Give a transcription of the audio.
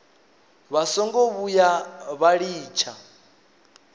vha songo vhuya vha litsha